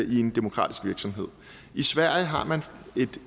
i en demokratisk virksomhed i sverige har man en